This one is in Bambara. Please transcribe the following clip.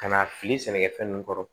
Ka n'a fili sɛnɛkɛfɛn ninnu kɔrɔ